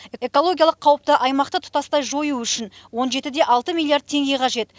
экологиялық қауіпті аймақты тұтастай жою үшін он жеті де алты миллиард теңге қажет